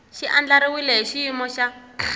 xi andlariwile hi xiyimo xa